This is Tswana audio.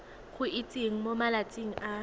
go itsise mo malatsing a